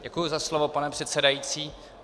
Děkuji za slovo, pane předsedající.